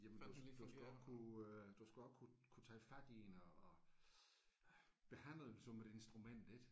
Jamen du du skal også kunne øh du skal også kunne kunne tage fat i den og og øh behandle den som et instrument ik